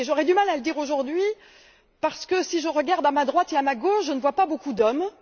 J'aurai du mal à le dire aujourd'hui parce que, si je regarde à ma droite et à ma gauche, je ne vois pas beaucoup d'hommes.